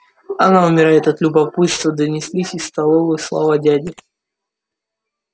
она умирает от любопытства донеслись из столовой слова дяди